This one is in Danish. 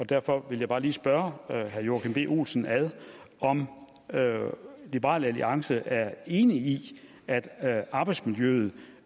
derfor vil jeg bare lige spørge herre joachim b olsen om liberal alliance er enig i at at arbejdsmiljøet